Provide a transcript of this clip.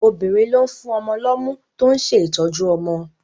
Obìnrin ló ń fún ọmọ lọ́mú tó ń ṣe ìtọ́jú ọmọ